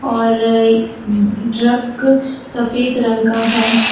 और ट्रक सफेद रंग का है।